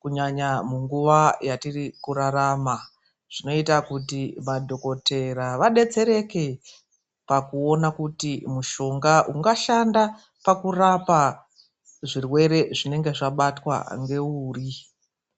kunyanya munguva yatiri kurarama. Zvinoita kuti madhokotera vadetsereke pakuona kuti mutombo ungashanda pakurapa zvirwere zvinenge zvabatwa ngeuri.